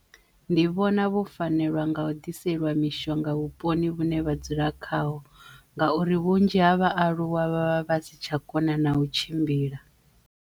Ndi vhona vhu fanelwa nga u ḓiselwa mishonga vhuponi vhune vha dzula Khaho ngauri vhunzhi ha vhaaluwa vha vha si tsha kona na u tshimbila.